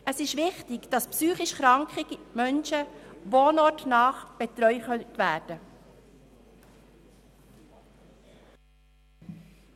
Es ist wichtig, dass psychisch kranke Menschen wohnortnah betreut werden können.